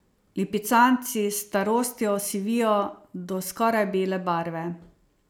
Lipicanci s starostjo osivijo do skoraj bele barve.